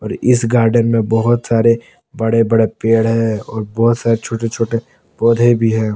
इस गार्डन में बहुत सारे बड़े बड़े पेड़ हैं और बहुत सारे छोटे छोटे पौधे भी हैं।